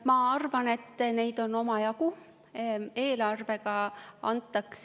Ma arvan, et neid on omajagu.